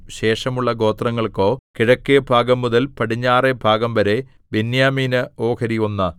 ശേഷമുള്ള ഗോത്രങ്ങൾക്കോ കിഴക്കെഭാഗംമുതൽ പടിഞ്ഞാറെ ഭാഗംവരെ ബെന്യാമീന് ഓഹരി ഒന്ന്